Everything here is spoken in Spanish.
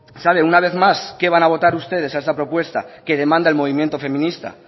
saben una vez más qué van a votar ustedes a esta propuesta que demanda el movimiento feminista